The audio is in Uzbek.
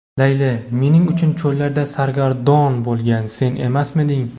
Layli: "Mening uchun cho‘llarda sargardon bo‘lgan sen emasmiding?"